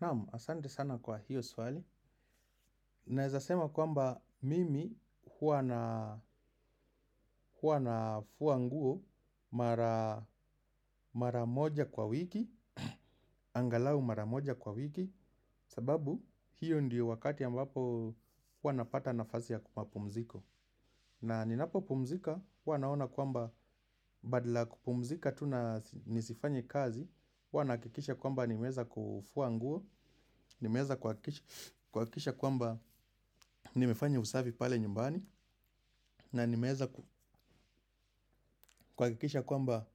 Naam, asante sana kwa hiyo swali. Naeza sema kwamba mimi huwa nafua nguo mara moja kwa wiki. Angalau mara moja kwa wiki. Sababu, hiyo ndiyo wakati ambapo hua napata nafazlsi ya kumapumziko. Na ninapopumzika, huwa naona kwamba badala ya kupumzika tu na nisifanye kazi huwa nahakikisha kwamba nimeweza kufua nguo, nimeweza kuhakikisha kwamba nimefanya usavi pale nyumbani. Na nimeeza kuhakikisha kwamba